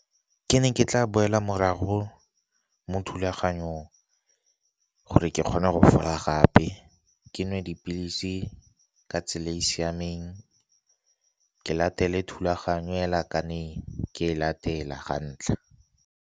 Ke ne ke tla boela morago mo thulaganyong gore ke kgone go fola gape, ke nwe dipilisi ka tsela e e siameng ke latele thulaganyo hela yaaka ne ke e latela ga ntlha.